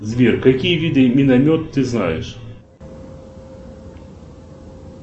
сбер какие виды миномет ты знаешь